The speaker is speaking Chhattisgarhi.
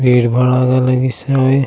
भीड़-भाड़ लगीस हावय।